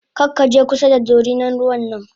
Karkaje kusa da dorinan ruwan nan m